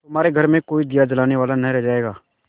तुम्हारे घर में कोई दिया जलाने वाला न रह जायगा